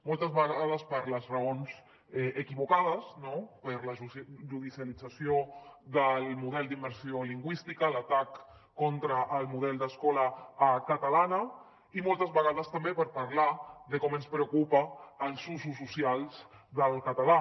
moltes vegades per les raons equivocades no per la judicialització del model d’immersió lingüística l’atac contra el model d’escola catalana i moltes vegades també per parlar de com ens preocupen els usos socials del català